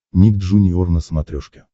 ник джуниор на смотрешке